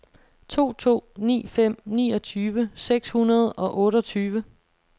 to to ni fem niogtyve seks hundrede og otteogtyve